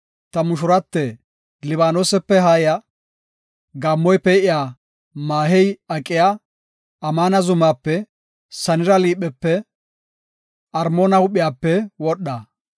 Ta mushurate, Libaanosepe haaya; Gaammoy pee7iya, maahey aqiya, Amaana zumaape, Sanira liiphepe Armoona huuphiyape wodha.